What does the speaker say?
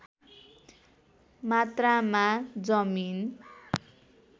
मात्रामा जमिन